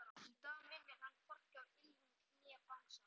Í dag minnir hann hvorki á ylfing né bangsa.